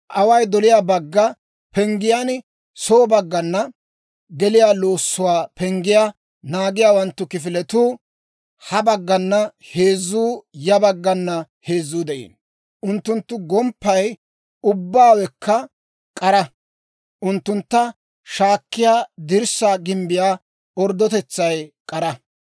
Away doliyaa bagga penggiyaan soo baggana, geliyaa loossuwaa penggiyaa naagiyaawanttu kifiletuu, ha baggana heezzuu ya baggana heezzuu de'iino. Unttunttu gomppay ubbaawekka k'ara; unttuntta shaakkiyaa dirssaa gimbbiyaa orddotetsaykka k'ara.